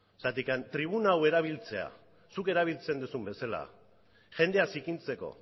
zergatik tribuna hau erabiltzea zuk erabiltzen duzun bezala jendea zikintzeko